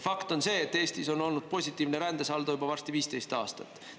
Fakt on see, et Eestis on olnud positiivne rändesaldo juba varsti 15 aastat.